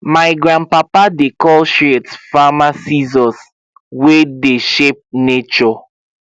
my grandpapa dey call shears farmer scissors wey dey shape nature